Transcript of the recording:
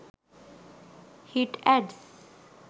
hit ads